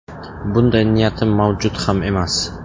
Bunday niyatim mavjud ham emas.